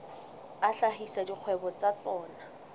a hlahisa dikgwebo tsa tsona